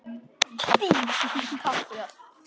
Kiddý, takk fyrir allt.